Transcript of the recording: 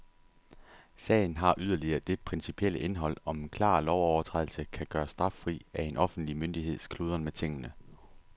Sagen har yderligere det principielle indhold, om en klar lovovertrædelse kan gøres straffri af en offentlig myndigheds kludren med tingene.